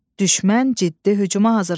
Düşmən şəhərə hücum etdi.